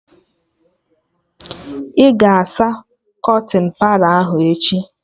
Ị ga-asa kọtịn Palọ ahụ echi?